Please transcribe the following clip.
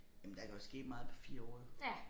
Jamen der kan jo ske meget på 4 år jo